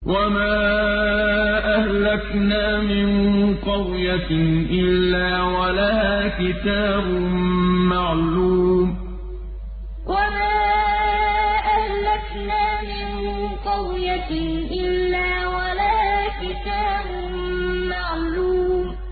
وَمَا أَهْلَكْنَا مِن قَرْيَةٍ إِلَّا وَلَهَا كِتَابٌ مَّعْلُومٌ وَمَا أَهْلَكْنَا مِن قَرْيَةٍ إِلَّا وَلَهَا كِتَابٌ مَّعْلُومٌ